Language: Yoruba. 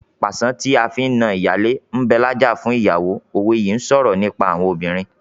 "Pàṣán tí a fi na ìyálé ń bẹ lájà fún ìyàwó " òwe yìí ń sọ̀rọ̀ nípa àwọn obìnrin.